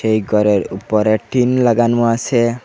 এই গরের উপরে টিন লাগানো আসে।